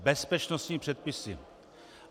Bezpečnostními předpisy.